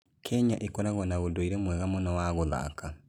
Kenya ĩkoragwo na ũndũire mwega mũno wa gũthaka.